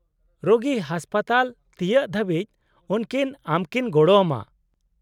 -ᱨᱳᱜᱤ ᱦᱟᱥᱯᱟᱛᱟᱞ ᱛᱤᱭᱟᱹᱜ ᱫᱷᱟᱹᱵᱤᱡ ᱩᱱᱠᱤᱱ ᱟᱢᱠᱤᱱ ᱜᱚᱲᱚ ᱟᱢᱟ ᱾